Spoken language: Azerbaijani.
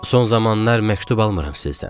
Son zamanlar məktub almıram sizdən.